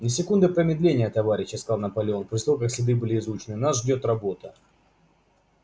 ни секунды промедления товарищи сказал наполеон после того как следы были изучены нас ждёт работа